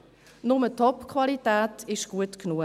Nur Topqualität ist gut genug.